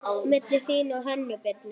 Milli þín og Hönnu Birnu?